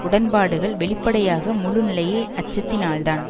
உடன்பாடுகள் வெளிப்படையாக முழு நிலையை அச்சத்தினால்தான்